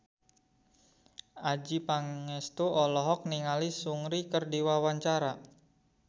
Adjie Pangestu olohok ningali Seungri keur diwawancara